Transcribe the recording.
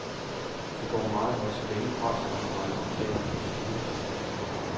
Det går meget godt, så længe partskonferencerne taler om procedure.